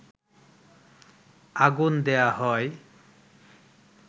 আগুন দেয়া হয়